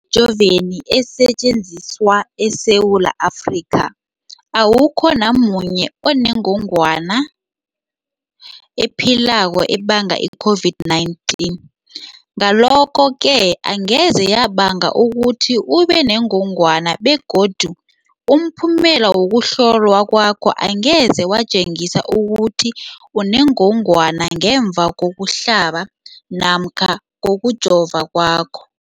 Emijoveni esetjenziswa eSewula Afrika, awukho namunye onengog wana ephilako ebanga i-COVID-19. Ngalokho-ke angeze yabanga ukuthi ubenengogwana begodu umphumela wokuhlolwan kwakho angeze watjengisa ukuthi unengogwana ngemva kokuhlaba namkha kokujova kwakho.